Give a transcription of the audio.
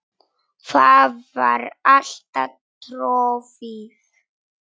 Það var alltaf troðið.